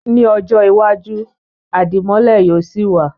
Ní ọjọ́ iwájú, Àdìmọ́lẹ̀ yóò sì wa